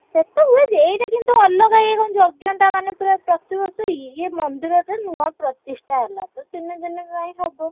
ସେଟା ହୁଏ ଯେ ଏଇଟା କିନ୍ତୁ ଅଲଗା ଇଏ ଯଜ୍ଞଟା ମାନେ ପୁରା ପ୍ରତିବର୍ଷ ଇଏ ଇଏ ମନ୍ଦିରଟା ନୁଆ ପ୍ରତିଷ୍ଠା ହେଲା। ଏଇ ତିନିଦିନି ପାଇଁ ହବ।